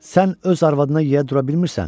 Sən öz arvadına yiyə dura bilmirsən?